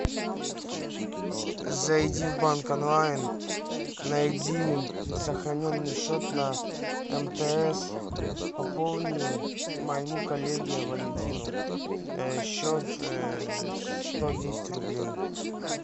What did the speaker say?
зайди в банк онлайн найди сохраненный счет на мтс пополни моему коллеге валентину счет сто десять рублей